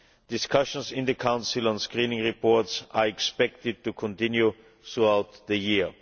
Discussions in the Council on screening reports are expected to continue throughout the year.